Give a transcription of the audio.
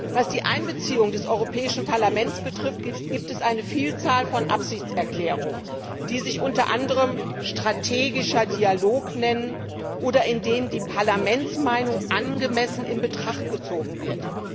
Was die Einbeziehung des Europäischen Parlaments betrifft, gibt es eine Vielzahl von Absichtserklärungen, die sich unter anderem strategischer Dialog nennen oder in denen die Parlamentsmeinung angemessen in Betracht gezogen wird.